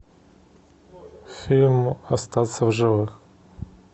фильм остаться в живых